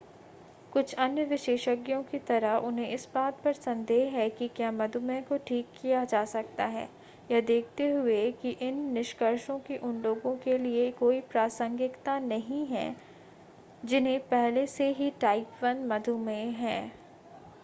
कुछ अन्य विशेषज्ञों की तरह उन्हें इस बात पर संदेह है कि क्या मधुमेह को ठीक किया जा सकता है यह देखते हुए कि इन निष्कर्षों की उन लोगों के लिए कोई प्रासंगिकता नहीं है जिन्हें पहले से ही टाइप 1 मधुमेह है